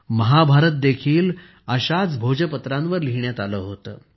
महाभारत देखील अशाच भोजपत्रांवर लिहिण्यात आले होते